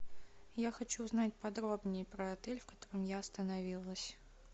я хочу узнать подробнее про отель в котором я остановилась